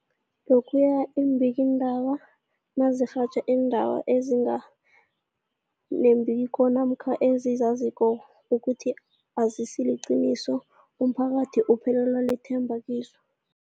Lokhuya iimbikiindaba nazirhatjha iindaba ezinga nembiko namkha ezizaziko ukuthi azisiliqiniso, umphakathi uphelelwa lithemba kizo.